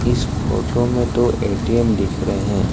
इस फोटो में दो ए_टी_एम दिख रहे हैं।